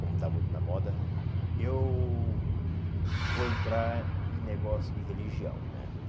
Como está muito na moda, eu vou entrar em negócio de religião, né?